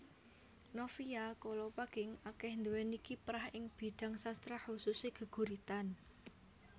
Novia Kolopaking akéh nduwéni kiprah ing bidhang sastra khususe geguritan